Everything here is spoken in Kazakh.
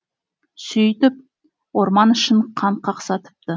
сөйтіп орман ішін қан қақсатыпты